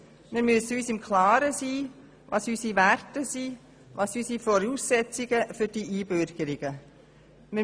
Wir müssen uns im Klaren sein, was unsere Werte als Voraussetzungen für die Einbürgerungen sind.